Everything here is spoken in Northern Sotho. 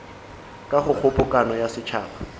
ka go kgobokano ya setšhaba